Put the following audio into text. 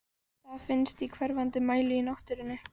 Það finnst í hverfandi mæli í náttúrunni.